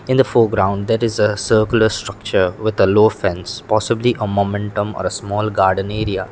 in a foreground there is a circular structure with a low fence possibly a momentum or a small garden area.